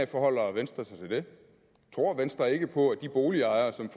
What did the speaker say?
forholder venstre sig til det tror venstre ikke på at de boligejere som